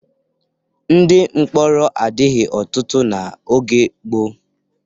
Ndị mkpọrọ adịghị ọtụtụ n'oge gboo.